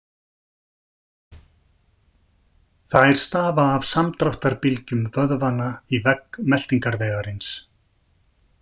Þær stafa af samdráttarbylgjum vöðvanna í vegg meltingarvegarins.